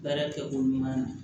Baara kɛcogo ɲuman na